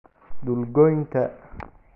Dhul goynta